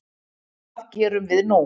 Hvað gerum við nú